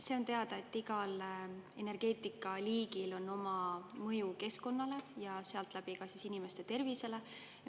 See on teada, et igal energeetikaliigil on oma mõju keskkonnale ja sedakaudu ka inimeste tervisele.